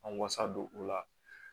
An wasa don u la